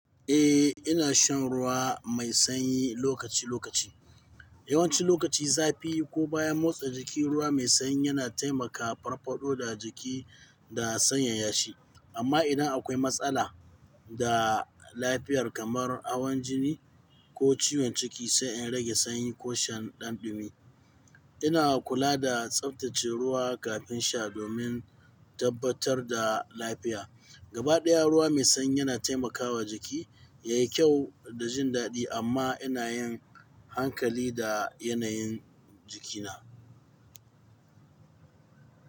Eh, ina shan ruwa mai sanyi lokaci-lokaci. Yawancin lokaci, zafi ko bayan motsa jiki, ruwa mai sanyi yana taimakawa farfaɗo da jiki da sanyaya shi. Amma idan akwai matsala da lafiyar kamar hawon jini ko ciwon ciki, sai in rage sanyi ko shan ɗan ɗumi. Ina kula da tsaftace ruwa kafin sha domin tabbatar da lafiya. Gaba ɗaya, ruwa mai sanyi yana taimakawa jiki ya yi kyau da jin daɗi, amma ina yin hankali da yanayin jikina.